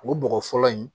O bɔgɔ fɔlɔ in